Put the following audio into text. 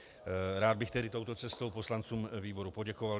Rád bych tedy touto cestou poslancům výboru poděkoval.